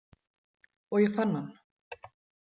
Og ég fann hann